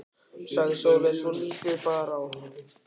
sagði Sóley svo lítið bar á.